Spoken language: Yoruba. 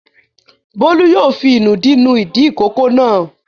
Bólú yóò fi ìnùdí nu ìdí ìkókó náà.